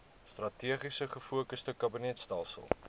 strategies gefokusde kabinetstelsel